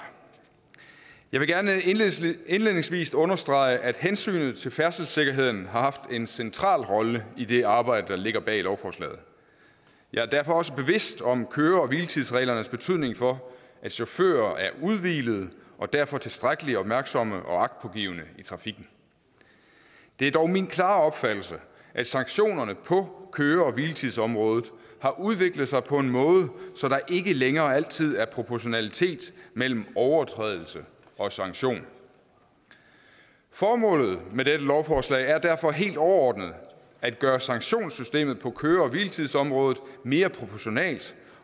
jeg vil gerne indledningsvis understrege at hensynet til færdselssikkerheden har haft en central rolle i det arbejde der ligger bag lovforslaget jeg er derfor også bevidst om køre hvile tids reglernes betydning for at chauffører er udhvilede og derfor tilstrækkelig opmærksomme og agtpågivende i trafikken det er dog min klare opfattelse at sanktionerne på køre hvile tids området har udviklet sig på en måde så der ikke længere altid er proportionalitet mellem overtrædelse og sanktion formålet med dette lovforslag er derfor helt overordnet at gøre sanktionssystemet på køre hvile tids området mere proportionalt